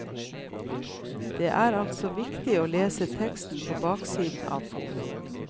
Det er altså viktig å lese teksten på baksiden av posen.